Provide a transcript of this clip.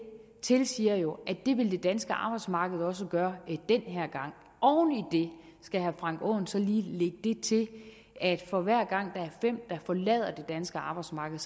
tilsiger jo at det vil det danske arbejdsmarked også gøre den her gang oven i det skal herre frank aaen så lige lægge det til at for hver gang der er fem der forlader det danske arbejdsmarked